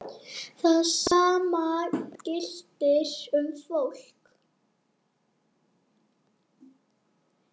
Það sama gilti um fólk.